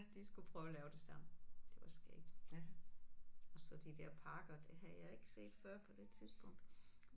De skulle prøve at lave det samme. Det var skægt. Og så de der parker det havde jeg ikke set før på det tidspunkt